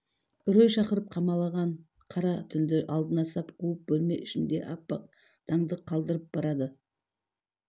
үрей шақырып қамалаған қара түнді алдына сап қуып бөлме ішінде аппақ таңды қалдырып барады